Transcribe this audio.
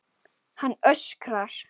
Hann öskrar.